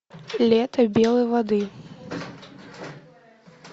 лето белой воды